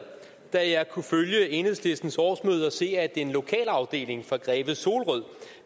da jeg kunne følge enhedslistens årsmøde og se at en lokalafdeling i greve solrød